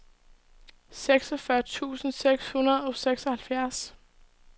seksogfyrre tusind seks hundrede og seksoghalvfjerds